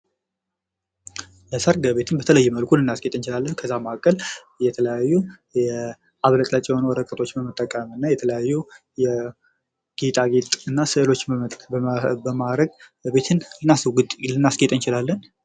የሰርግ ቤትን በተለየ መልኩ ልናስጌጥ እንችላለን። ከዛ መካከል የተለያዩ አቡለጭላጭ የሆኑ ወረቀቶችም በመጠቀም እና የተለያዩ የጌጣጌጥ እና ስዕሎችን በማረግ የሰርግ ቤት ልናስጌጥ እንችላለን።